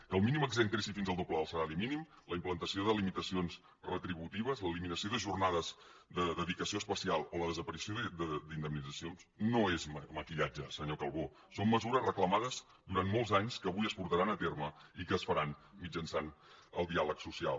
que el mínim exempt creixi fins al doble del salari mínim la implantació de limitacions retributives l’eliminació de jornades de dedicació especial o la desaparició d’indemnitzacions no és maquillatge senyor calbó són mesures reclamades durant molts anys que avui es portaran a terme i que es faran mitjançant el diàleg social